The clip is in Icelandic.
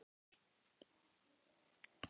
Geisli, viltu hoppa með mér?